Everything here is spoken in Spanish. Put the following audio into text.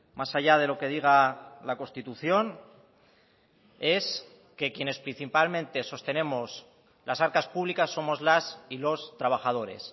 más allá de lo que diga la constitución es que quienes principalmente sostenemos las arcas públicas somos las y los trabajadores